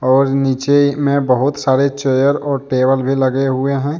और नीचे में बहुत सारे चेयर और टेबल भी लगे हुए हैं।